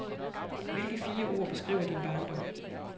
Hvilke fire ord beskriver din barndom?